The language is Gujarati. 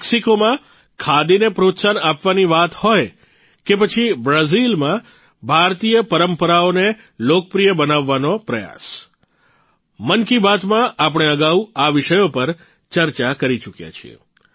મેક્સિકોમાં ખાદીને પ્રોત્સાહન આપવાની વાત હોય કે પછી બ્રાઝિલમાં ભારતીય પરંપરાઓને લોકપ્રિય બનાવવાનો પ્રયાસ મન કી બાતમાં આપણે અગાઉ આ વિષયો પર ચર્ચા કરી ચૂક્યા છીએ